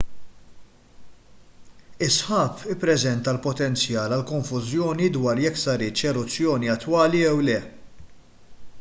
is-sħab ippreżenta l-potenzjal għal konfużjoni dwar jekk saritx eruzzjoni attwali jew le